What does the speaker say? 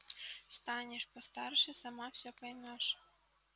станешь постарше сама все поймёшь